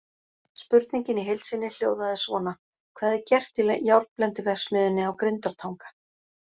Spurningin í heild sinni hljóðaði svona: Hvað er gert í járnblendiverksmiðjunni á Grundartanga?